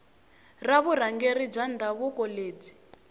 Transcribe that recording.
ra vurhangeri bya ndhavuko byi